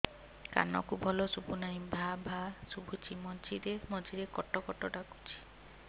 କାନକୁ ଭଲ ଶୁଭୁ ନାହିଁ ଭାଆ ଭାଆ ଶୁଭୁଚି ମଝିରେ ମଝିରେ କଟ କଟ ଡାକୁଚି